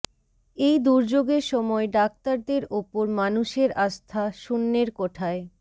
এই দুর্যোগের সময় ডাক্তারদের ওপর মানুষের আস্থা শূন্যের কোঠায়